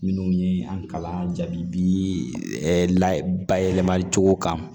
Minnu ye an kalan bi ɛ la bayɛlɛmali cogo kan